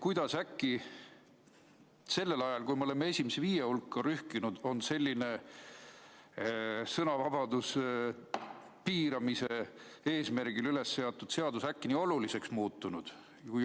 Kuidas nüüd ajal, kui me oleme oma nakatumisega esimese viie riigi hulka rühkinud, on selline sõnavabaduse piiramise eesmärgil kehtestada tahetav seadus äkki nii oluliseks muutunud?